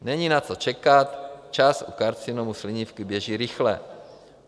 Není na co čekat, čas u karcinomu slinivky běží rychle.